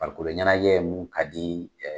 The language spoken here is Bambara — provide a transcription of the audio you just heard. Farikolo ɲɛnajɛ ye mun ka di